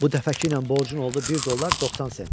Bu dəfəkiylə borcun oldu 1 dollar 90 sent.